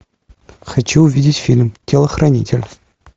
хочу увидеть фильм телохранитель